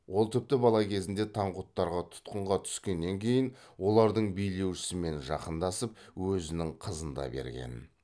ол тіпті бала кезінде таңғұттарға тұтқынға түскеннен кейін олардың билеушісімен жақындасып өзінің қызын да берген